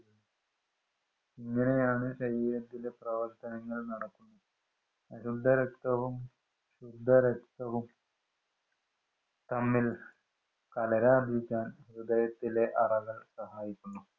ഇങ്ങനെയാണ് ശരീരത്തിന്‍റെ പ്രവര്‍ത്തനങ്ങള്‍ നടക്കുന്നത്. അശുദ്ധരക്തവും, ശുദ്ധരക്തവു തമ്മില്‍ കലരാതിരിക്കാന്‍ ഹൃദയത്തിലെ അറകള്‍ സഹായിക്കുന്നു.